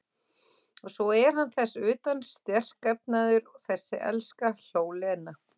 Og svo er hann þess utan sterkefnaður, þessi elska, hló Lena.